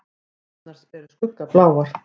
Eðlurnar eru skuggabláar.